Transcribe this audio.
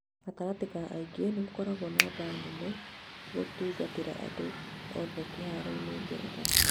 Gatagatĩ ka angĩ: nĩugakorwo na baa nene gũtungatĩra andũ othe kĩharoo-inĩ ngeretha